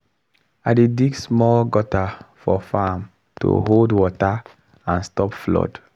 i dey dig small gutter for farm to hold water and stop flood.